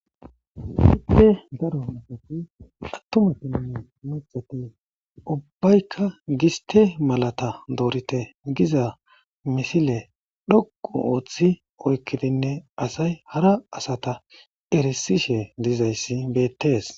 Daro asati attumaa giddine maca ubbaykka giste malata doorite giza misile xoqqu ooththi oyikkidinne asay hara asata eresishe diza issi beettees.